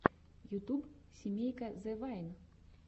ютюб семейка зэ вайн